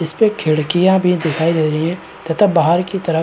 इसपे खिड़कियाँ भी दिखाई दे रही हैं तथा बाहर की तरफ --